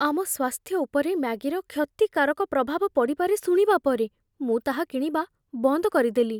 ଆମ ସ୍ୱାସ୍ଥ୍ୟ ଉପରେ 'ମ୍ୟାଗି'ର କ୍ଷତିକାରକ ପ୍ରଭାବ ପଡ଼ିପାରେ ଶୁଣିବା ପରେ ମୁଁ ତାହା କିଣିବା ବନ୍ଦ କରିଦେଲି।